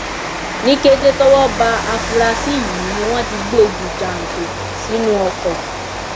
ní kété tọwọ ba afurasí yìí ni wọn ti gbé e ju jàǹtò sínú ọkọ